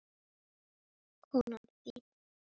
Konan þín?